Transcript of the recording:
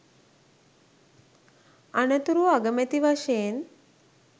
අනතුරුව අගමැති වශයෙන්